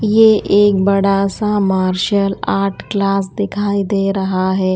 यह एक बड़ा सा मार्शल आर्ट क्लास दिखाई दे रहा है।